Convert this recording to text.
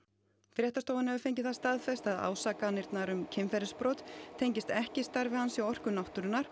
fréttastofan hefur fengið það staðfest að ásakanirnar um kynferðisbrot tengist ekki starfi hans hjá Orku náttúrunnar